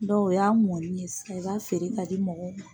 o y'a mɔnni sisan i b'a feere k'a di mɔgɔw ma.